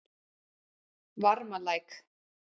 Varmalæk